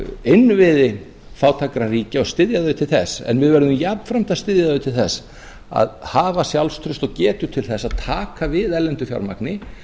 innviði fátækra ríkja og styðja þau til þess en við verðum jafnframt að styðja þau til þess að hafa sjálfstraust og getu til að taka við erlendu fjármagni